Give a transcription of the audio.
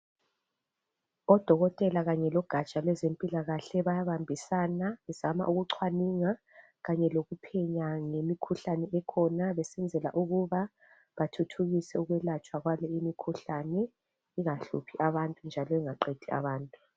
Odokotela kanye logatsha lwezempilakahle bayabambisana bezama ukucwaninga kanye lokuphenya ngemikhuhlane ekhona besenzela ukuba bathuthukise ukwelatshwa kwale imikhuhlane ingahluphi abantu njalo ingaqedi abantu.